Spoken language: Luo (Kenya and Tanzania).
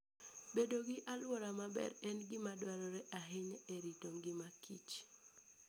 Bedo gi alwora maler en gima dwarore ahinya e rito ngima kich.